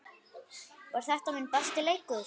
Var þetta minn besti leikur?